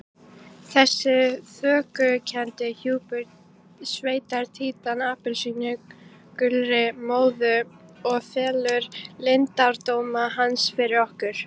Þessi þokukenndi hjúpur sveipar Títan appelsínugulri móðu og felur leyndardóma hans fyrir okkur.